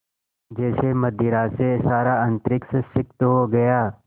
जैसे मदिरा से सारा अंतरिक्ष सिक्त हो गया